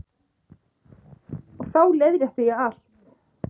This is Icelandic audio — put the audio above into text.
Og þá leiðrétti ég allt.